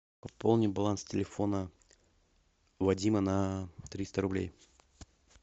пополни баланс телефона вадима на триста рублей